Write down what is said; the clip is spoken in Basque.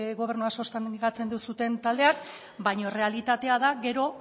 gobernua sostengatzen duzuen taldeek baina errealitatea da gero